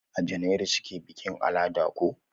A janairu suke bikin alada ko?